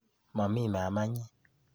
Momii mamanyi.